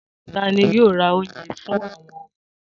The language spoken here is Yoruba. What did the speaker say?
Ta ni yóò ra oúnjẹ fún àwọn ọmọ wọn?